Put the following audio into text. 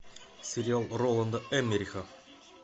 сериал роланда эммериха